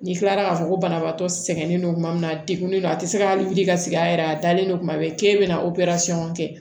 N'i kilara k'a fɔ ko banabaatɔ sɛgɛnnen don tuma min na a degunnen don a ti se ka wuli ka sigi a yɛrɛ a dalen don tuma bɛɛ k'e bɛna opere